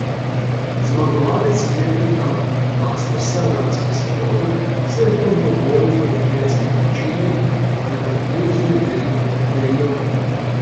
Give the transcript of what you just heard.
Zmagovalec sklepnega mastersa lanske sezone se je po dvoboju v peklenski vročini nagradil z ledeno kopeljo.